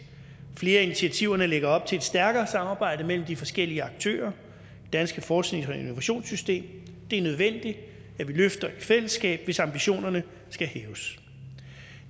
flere af initiativerne lægger op til et stærkere samarbejde mellem de forskellige aktører i det danske forsknings og innovationssystem det er nødvendigt at vi løfter i fællesskab hvis ambitionerne skal hæves